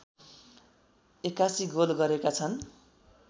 ८१ goal गरेका छन्